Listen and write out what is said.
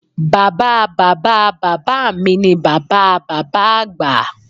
Bàbáa Bàbá Bàbá mi ni Bàbá a Bàbá Àgbà